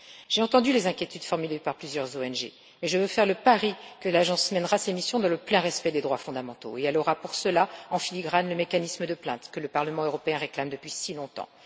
J'ai entendu les inquiétudes formulées par plusieurs ONG et je veux faire le pari que l'Agence mènera ses missions dans le plein respect des droits fondamentaux, et elle aura pour cela, en filigrane, le mécanisme de plainte que le Parlement européen réclame depuis si longtemps.